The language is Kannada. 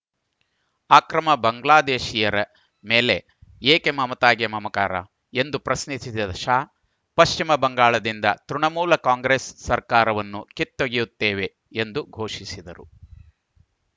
ಅಕ್ರಮ ಬಾಂಗ್ಲಾದೇಶೀಯರ ಮೇಲೆ ಏಕೆ ಮಮತಾಗೆ ಮಮಕಾರ ಎಂದು ಪ್ರಶ್ನಿಸಿದ ಶಾ ಪಶ್ಚಿಮ ಬಂಗಾಳದಿಂದ ತೃಣಮೂಲ ಕಾಂಗ್ರೆಸ್‌ ಸರ್ಕಾರವನ್ನು ಕಿತ್ತೊಗೆಯುತ್ತೇವೆ ಎಂದು ಘೋಷಿಸಿದರು